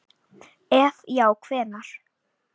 ef já hvenær??